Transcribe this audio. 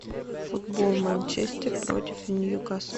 футбол манчестер против ньюкасл